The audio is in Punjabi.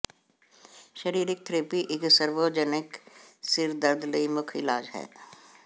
ਸ਼ਰੀਰਕ ਥੈਰੇਪੀ ਇਕ ਸਰਵਜਨੋਜਨਿਕ ਸਿਰ ਦਰਦ ਲਈ ਮੁੱਖ ਇਲਾਜ ਹੈ